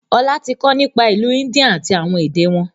Ọlá tí kọ nípa ìlú India àti àwọn èdè wọn